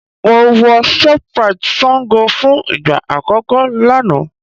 Mo wọ shoprite Sango fún ìgbà àkọ́kọ́ lánàá